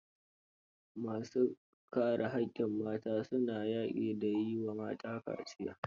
Ma su kare haƙƙin mata, su na yaƙi da yi wa mata kaciya.